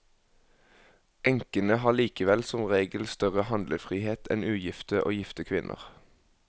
Enkene har likevel som regel større handlefrihet enn ugifte og gifte kvinner.